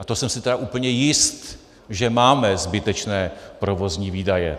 A to jsem si tedy úplně jist, že máme zbytečné provozní výdaje.